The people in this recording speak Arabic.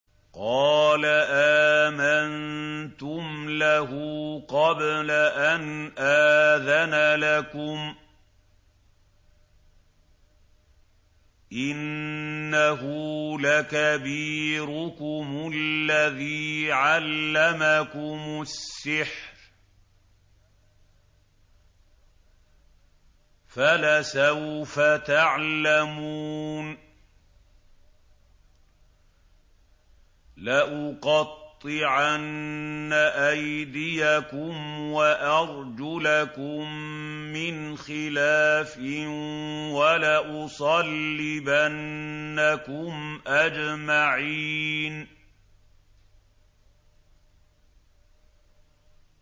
قَالَ آمَنتُمْ لَهُ قَبْلَ أَنْ آذَنَ لَكُمْ ۖ إِنَّهُ لَكَبِيرُكُمُ الَّذِي عَلَّمَكُمُ السِّحْرَ فَلَسَوْفَ تَعْلَمُونَ ۚ لَأُقَطِّعَنَّ أَيْدِيَكُمْ وَأَرْجُلَكُم مِّنْ خِلَافٍ وَلَأُصَلِّبَنَّكُمْ أَجْمَعِينَ